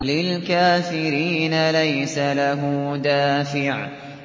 لِّلْكَافِرِينَ لَيْسَ لَهُ دَافِعٌ